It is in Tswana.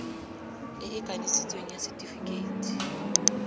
e e kanisitsweng ya setefikeiti